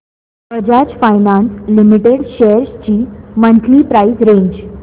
Bajaj finance limited shares ची monthly price range